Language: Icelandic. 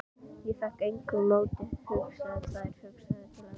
Ég fékk með engu móti hugsað þær hugsanir til enda.